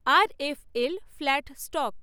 RFL flat stock